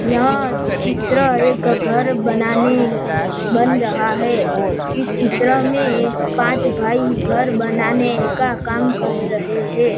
यह चित्रा एक का घर बनाने बन रहा है इस चित्र में पांच भाई घर बनाने का काम कर रहे हैं।